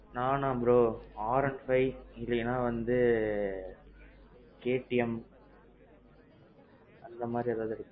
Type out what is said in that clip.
நானா bro R one five இல்லேனா வந்து KTM அந்த மாறி ஏதாவது.